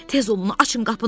Tez olun, açın qapını.